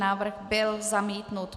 Návrh byl zamítnut.